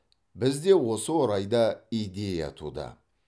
бізде осы орайда идея туды